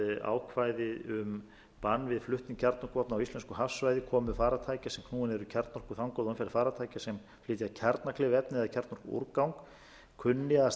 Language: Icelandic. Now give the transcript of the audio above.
ákvæði um bann við flutningi kjarnorkuvopna á íslensku hafsvæði komu farartækja sem knúin er kjarnorku þangað og umferð farartækja sem flytja kjarnakleyf efni